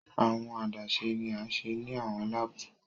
Awọn adaṣe ni a ṣe ni awọn laabu